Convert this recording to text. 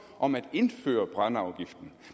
om at indføre brændeafgiften